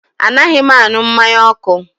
Anaghị m aṅụ mmanya ọkụ